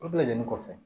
O bɛɛ lajɛlen kɔfɛ